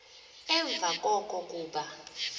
emva koko kuba